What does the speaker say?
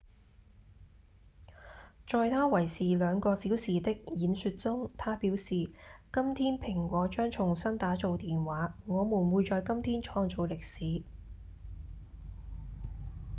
在他為時2個小時的演說中他表示：「今天蘋果將重新打造電話我們會在今天創造歷史」